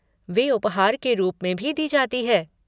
वे उपहार के रूप में भी दी जाती हैं।